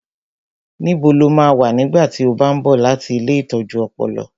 Níbo lo máa wà nígbà tí ó bá ń bọ̀ láti ilée ìtọ́jú ọpọlọ?